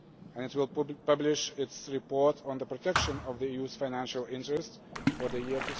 It will also publish its report on the protection of the EU's financial interests for the year